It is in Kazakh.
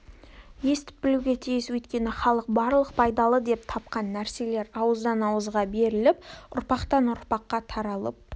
естіп білуге тиіс өйткені халық барлық пайдалы деп тапқан нәрселер ауыздан ауызға беріліп ұрпақтан-ұрпаққа таралып